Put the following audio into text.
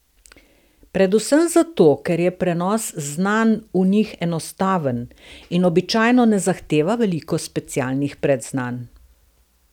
Predvsem zato, ker je prenos znanj v njih enostaven in običajno ne zahteva veliko specialnih predznanj.